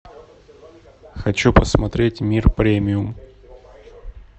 хочу посмотреть мир премиум